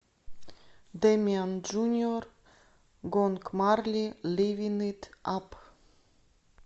дэмиан джуниор гонг марли ливин ит ап